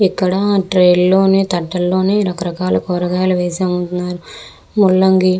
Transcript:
ఇక్కడ ట్రే లోని తట్టలోని రకరకాల కూరగాయలు వేసి అమ్ముతున్నారు. ముళంగి--